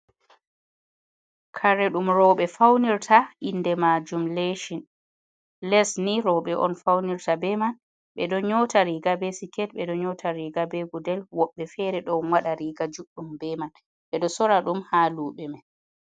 Kare ɗum rowɓe faunirta inde majum lecin, les ni rowɓe on faunirta be man ɓe don nyota riga be sket, ɓe ɗon nyota riga be godel, woɓɓe fere ɗon waɗa riga juɗɗum be man ɓeɗo sora ɗum ha luɓe man.